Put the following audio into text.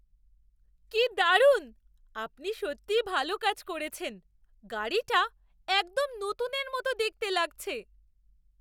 কি দারুণ! আপনি সত্যিই ভালো কাজ করেছেন। গাড়িটা একদম নতুনের মতো দেখতে লাগছে!